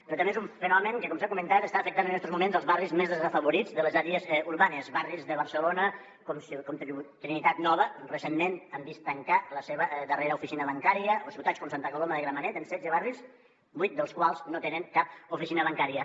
però també és un fenomen que com s’ha comentat està afectant en estos moments els barris més desafavorits de les àrees urbanes barris de barcelona com trinitat nova que recentment ha vist tancar la seva darrera oficina bancària o ciutats com santa coloma de gramenet amb setze barris vuit dels quals no tenen cap oficina bancària